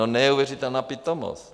No, neuvěřitelná pitomost.